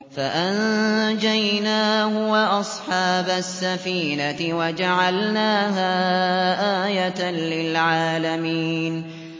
فَأَنجَيْنَاهُ وَأَصْحَابَ السَّفِينَةِ وَجَعَلْنَاهَا آيَةً لِّلْعَالَمِينَ